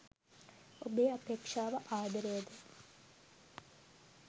ඔබේ අපේක්ෂාව ආදරයද?